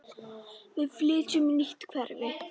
Við flytjum í nýtt hverfi.